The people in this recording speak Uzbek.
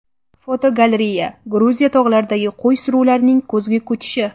Fotogalereya: Gruziya tog‘laridagi qo‘y suruvlarining kuzgi ko‘chishi.